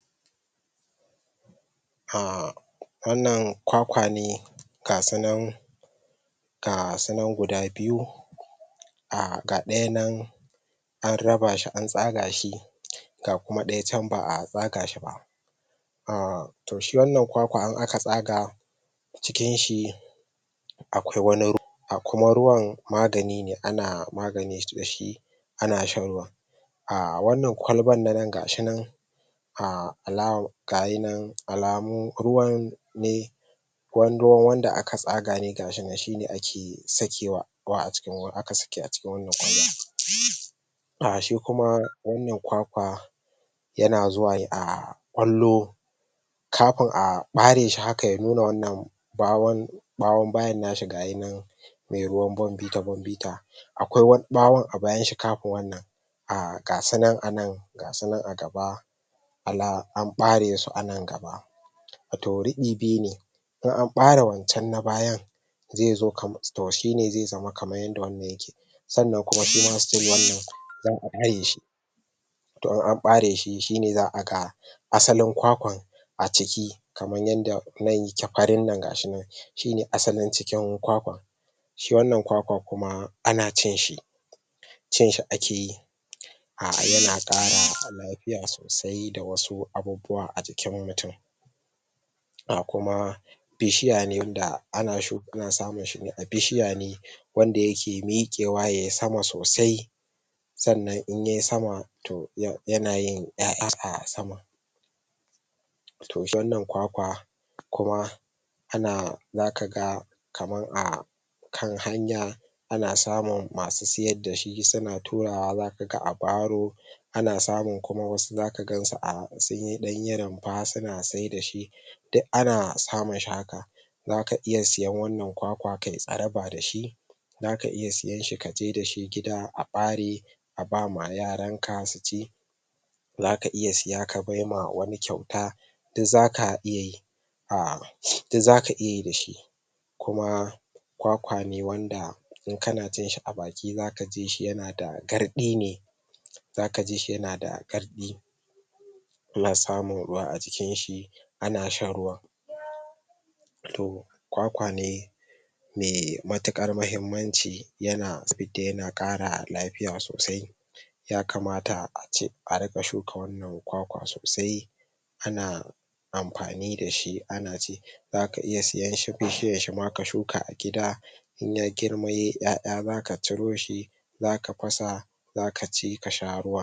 ah wan nan kwakwane ga su nan ga su nan guda biyu a ga daya nan an rabashi an tsaga shi ga kuma daya chan baa tsaga shiba ah to shi wan nan kwakwa in aka tsaga cikin shi a kwai wani ruwa kuma ruwan magani ne ana magani da shi ana shan ruwan ah wan nan kwalban na nan gashinan alaman alamu ruwan ne kwanduwan wanda aka tsaga ne gashinan shine ake sakewa aka sake a cikin wan nan kwaiban shikuma wan nan kwakwa yana zuwa a kwallo kafin a bareshi haka, ya nuna wan nan bahon bayan nashi gashinan mai ruwan bonbita-bonbita akwai wani bahon, a bayan shi kafin wan nan ga su nan a nan, gasunan a gaba an baresu su a nan gaba wato rifi biyu ne in an bare wan chan na bayan to shine zai zama kaman yadda wan nan yake san nan kuma shima still wan nan zaa dayeshi to in an bareshi shine za a ga asalin kwakwan a ciki kaman yadda nan yake farin nan gashi nan shine asalin cikin kwakwan shi wan nan kwakwan kuma ana cin shi cin shi a ke yi ah yana kara lafiya sosai da wasu abubuwa a jikin mutun ga kuma bishiya ne wanda ana samun shine a bishiya wan da yake mikewa yayi sama sosai san nan in yayi sama to yana yin yaya a saman to shi wan nan kwakwa kuma ana za kaga kaman a kan hanya a na samun masu sayar dashi su na turawa da ka ga a baro ana samun ku ma wasu dakaga, sun dan yi runfa su na saidashi duk ana samun shi haka zaka iya sayan wan nan kwakwa kayi tsaraba dashi zaka iya sayan shi kaje dashi gida a bare a bama yaran ka su ci zaka iya saya ka bama wani kyauta zaka iya yi duk zaka iya yi da shi kuma kwakwane wan da in kana cin shi a baki zaka ji yana da gardi ne zaka ji shi yana da gardi a na samun ruwa a jikin shi a na shan ruwan to kwakwane mai matukan mahimmanci yana sifidda yana kara lafiya sosai ya kamata a ce, a rinka shuka wan nan kwakwa sosai a na anfani da shi ana ci zaka iya sayan bishiyan shi ma ka shuka a gida in ya girma yayi yaya zaka ciroshi za ka fasa zaka ci ka sha ruwan.